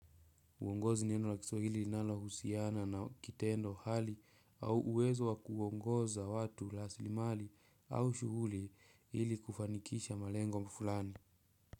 Uongozi ni neno la kiswaihili nalohusiana na kitendo hali au uwezo wakuongoza watu la silimali au shuhuli hili kufanikisha malengo mfulani.